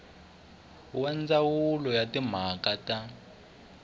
wa ndzawulo ya timhaka ta